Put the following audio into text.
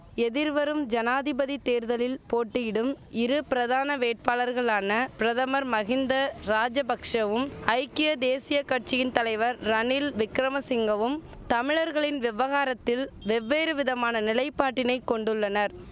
எதிர்வரும் ஜனாதிபதி தேர்தலில் போட்டியிடும் இருபிரதான வேட்பாளர்களான பிரதமர் மகிந்த ராஜபக்ஷவும் ஐக்கிய தேசிய கட்சியின் தலைவர் ரணில் விக்கிரமசிங்கவும் தமிழர்களின் விவகாரத்தில் வெவ்வேறு விதமான நிலைப்பாட்டினை கொண்டுள்ளனர்